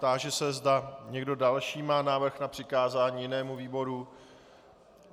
Táži se, zda někdo další má návrh na přikázání jinému výboru.